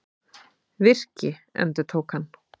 Virki, endurtók hann.